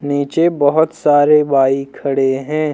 नीचे बहोत सारे बाइक खड़े हैं।